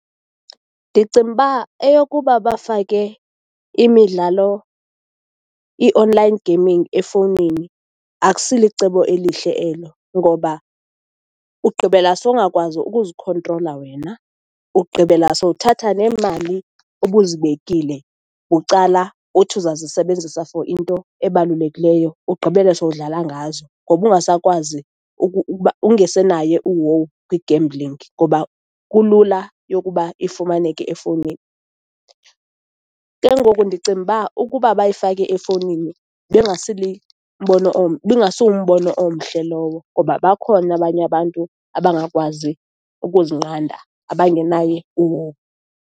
Ndicinga uba eyokuba bafake imidlalo i-online gaming efowunini, akusilicebo elihle elo, ngoba ugqibela sowungakwazi ukuzikhontrola wena, ugqibela sowuthatha neemali ubuzibekile bucala uthi uzawuzisebenzisa for into ebalulekileyo, ugqibele sowudlala ngazo, ngoba ungasakwazi uba ungesenaye uhowu kwi-gambling ngoba kulula yokuba ifumaneke efowunini. Ke ngoku ndicimba ukuba bayifake efowunini, ibingasumbono omhle lowo ngoba bakhona abanye abantu abangakwazi ukuzinqanda, abangenayo uhowu.